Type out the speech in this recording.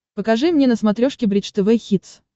покажи мне на смотрешке бридж тв хитс